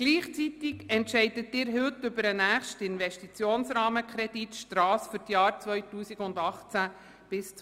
Gleichzeitig entscheiden Sie heute über den nächsten Investitionsrahmenkredit Strasse für die Jahre 2018–2021.